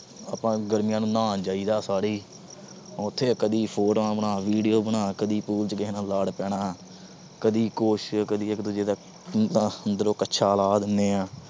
ਆਪਾ ਗਰਮੀਆਂ ਨੂੰ ਨਹਾਉਣ ਜਾਈਆ ਦਾ ਸਾਰੇ ਈ। ਉੱਥੇ ਕਦੀ photos ਬਣਾ, ਕਦੀ videos ਬਣਾ। ਕਦੀ school ਚ ਕਿਸੇ ਨਾਲ ਲੜ ਪੈਣਾ, ਕਦੀ ਕੁਛ। ਕਦੀ ਇਕ ਦੂਸਰੇ ਦਾ ਅੰਦਰੋਂ ਕੱਛਾ ਲਾਹ ਦੀਨੇ ਆ।